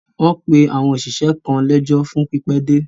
Wọ́n pe àwọn òṣìṣẹ́ kan lẹ́jọ́ fún pípẹ́ dé.